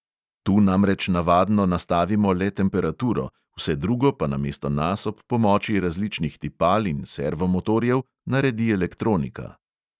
Tu namreč navadno nastavimo le temperaturo, vse drugo pa namesto nas ob pomoči različnih tipal in servomotorjev naredi elektronika.